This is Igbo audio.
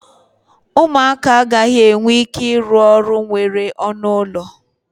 ụmụaka agaghị enwe ike ịrụ ụlọ nwere ọnụ ụlọ